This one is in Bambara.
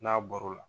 N'a bɔr'o la